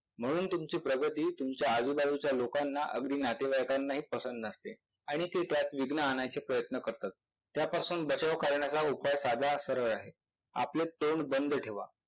म्हणून तुमची प्रगती तुमच्या आजूबाजूच्या लोकांना अगदी नातेवाईकांना हि पसंद नसते आणि ते त्यात विघ्न आणायचे प्रयत्न करतात. त्यापासून बचाव करण्याचा उपाय साधा सरळ आहे, आपलं तोंड बंद ठेवा.